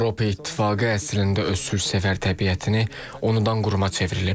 Avropa İttifaqı əslində öz sülhsevər təbiətini unudan quruma çevrilib.